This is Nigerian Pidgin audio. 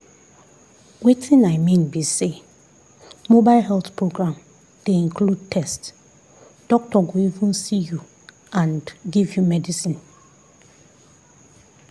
wetin i mean be say mobile health program dey include test doctor go even see you and give you medicine.